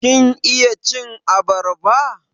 Kin iya cin abarba?